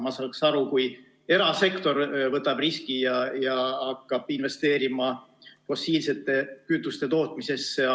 Ma saaks aru, kui erasektor võtab riski ja hakkab investeerima fossiilsete kütuste tootmisesse.